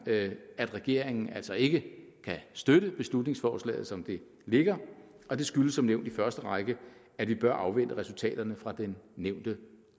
at regeringen altså ikke kan støtte beslutningsforslaget som det ligger og det skyldes som nævnt i første række at vi bør afvente resultaterne fra den nævnte